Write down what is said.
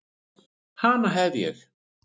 Hana hef ég.